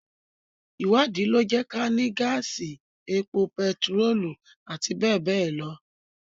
Ìwádìí lọ jẹ́ kí á ní gáàsì, epo bentiróòlù, àti bẹ́ẹ̀ bẹ́ẹ̀ lọ.